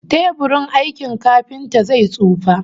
Teburin aikin kafinta zai tsufa